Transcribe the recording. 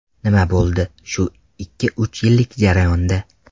Nima bo‘ldi shu ikki-uch yillik jarayonda?